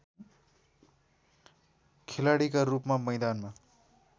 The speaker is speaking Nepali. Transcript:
खेलाडीका रूपमा मैदानमा